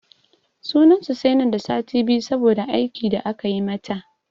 Sunan su sai nan da sati biyu saboda aiki da aka yi mata.